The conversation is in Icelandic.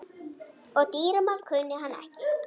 Og dýramál kunni hann ekki.